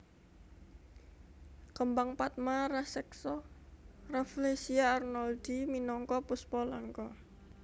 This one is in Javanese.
Kembang padma raseksa Rafflesia arnoldii minangka puspa langka